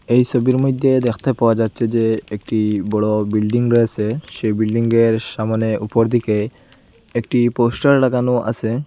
এই ছবির মইধ্যে দেখতে পাওয়া যাচ্ছে যে একটি বড়ো বিল্ডিং রয়েছে সেই বিল্ডিংয়ের সামনে উপরদিকে একটি পোস্টার লাগানো আছে।